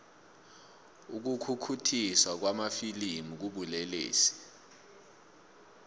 ukukhukhuthiswa kwamafilimu kubulelesi